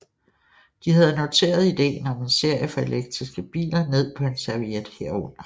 De havde noteret idéen om en serie for elektriske biler ned på en serviet herunder